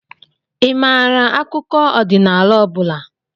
Ị maara akụkọ ọdịnala ọ bụla?